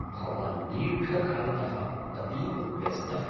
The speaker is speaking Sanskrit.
भवान् दीर्घकालतः अतीव व्यस्तः ।